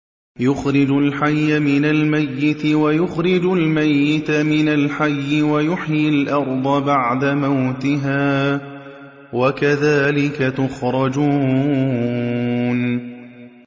يُخْرِجُ الْحَيَّ مِنَ الْمَيِّتِ وَيُخْرِجُ الْمَيِّتَ مِنَ الْحَيِّ وَيُحْيِي الْأَرْضَ بَعْدَ مَوْتِهَا ۚ وَكَذَٰلِكَ تُخْرَجُونَ